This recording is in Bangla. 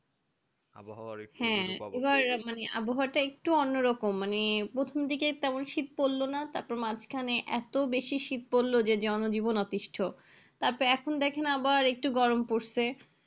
হ্যাঁ মানে আবহাওয়াটা একটুু অন্যরকম মানে প্রথম দিকেই তেমন শীত পড়লো না তারপর মাঝখানে এত বেশি শীত পড়লো যে জনজীবন অতিষ্ঠ তারপরে এখন দেখেন আবার একটু গরম পরছে